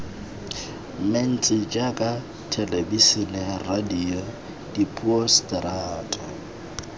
mentsi jaaka thelebisene radio diphousetara